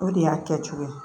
O de y'a kɛcogo ye